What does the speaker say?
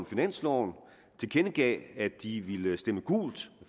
finansloven tilkendegav at de ville stemme gult